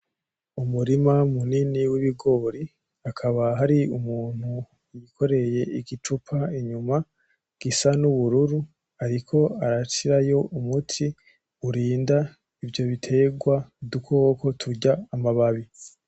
Umurima munini w'ibigori hakaba hari umuntu yikoreye igicupa inyuma gisa n'ubururu ariko arashirayo umuti urinda ivyo biterwa udukoko turya amababi .